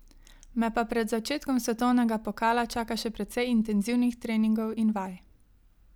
Me pa pred začetkom svetovnega pokala čaka še precej intenzivnih treningov in vaj.